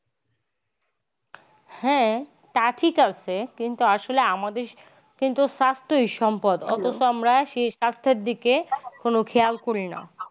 হ্যা! তা ঠিক আছে কিন্তু আসলে আমাদের কিন্তু সাস্থই সম্পদ। অথচ আমরা সেই স্বাস্থের দিকে কোনো খেয়াল করিনা